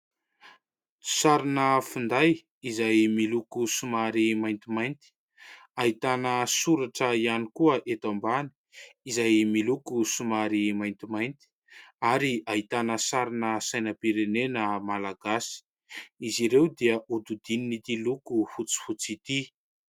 Sarina finday izay miloko somary maintimainty, ahitana soratra ihany koa eto ambany izay miloko somary maintimainty ary ahitana sarina sainam-pirenena malagasy. Izy ireo dia hodidinin' ity loko fotsifotsy ity.